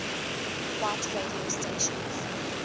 white radio stations